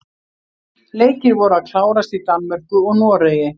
Leikir voru að klárast í Danmörku og Noregi.